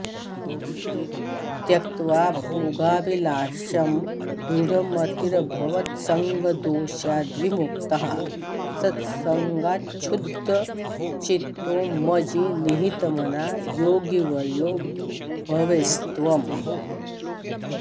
त्यक्त्वा भोगाभिलाषं दृढमतिरभवत्सङ्गदोषाद्विमुक्तः सत्सङ्गाच्छुद्धचित्तो मयि निहितमना योगिवर्यो भवेस्त्वम्